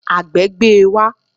Àgbẹ̀ gbé e wá